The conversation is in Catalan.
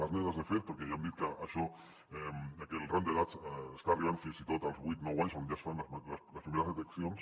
les nenes de fet perquè ja hem dit que el rang d’edat està arribant fins i tot als vuit nou anys on ja es fan les primeres deteccions